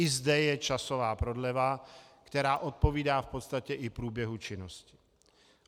I zde je časová prodleva, která odpovídá v podstatě i průběhu činnosti.